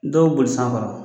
Dɔw boli san kɔrɔ